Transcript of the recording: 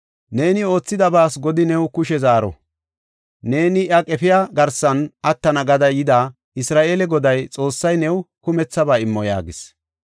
Neeni oothidabaas Godi new kushe zaaro. Neeni iya qefiya garsan attana gada yida, Isra7eele Goday Xoossay new kumethaba immo” yaagis.